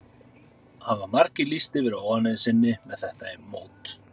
Hafa margir lýst yfir óánægju sinni með þetta mót?